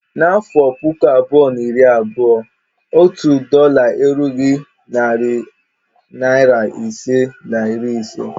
N'afọ puku abụọ na iri abụọ, otu dọla erughi narị naịra ise na iri ise